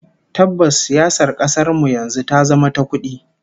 Tabbas, siyasar kasar mu yanzu ta zama ta kudi